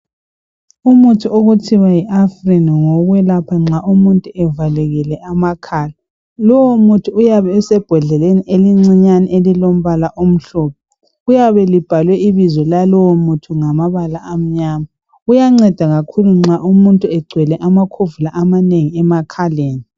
umuthi okuthiwa yi Afrin ngowokwelapha nxa umuntu evalekile amakhala lowu muthi uyabe usebhodleni elincinyane elilombala omhlophe liyabe libhalwe ibizo lalowo muthi ngamabala amnyama uyanceda kakhulu nxa umuntu egcwele amakhovula amanengi emakhaleni